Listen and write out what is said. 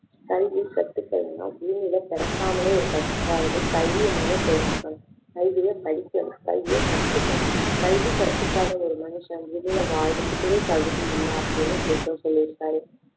கல்வி கத்துக்கலைன்னா பூமியில பிறக்காமலே இருக்கலாம் அதாவது கல்விய மொத தெரிஞ்சுக்கணும் கல்வியை படிக்கணும் கல்வியை கத்துக்கணும் கல்வி கத்துக்காத ஒரு மனுஷன் பூமியில வாழ்றதுக்கே தகுதி இல்லை அப்படின்னு புளூட்டோ சொல்லிருக்காரு